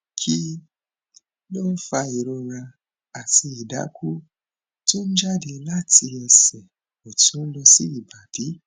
kí ló ń fa ìrora àti idaku tó ń jáde láti ẹsẹ ọtún lọ sí ibadì